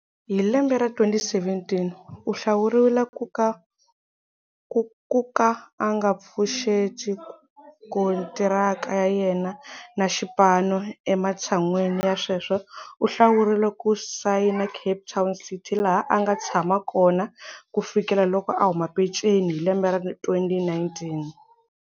Hi lembe ra 2017, u hlawuriwile ku ka a nga pfuxeti kontiraka ya yena na xipano, ematshan'wini ya sweswo u hlawurile ku sayina Cape Town City laha a nga tshama kona ku fikela loko a huma penceni hi lembe ra 2019.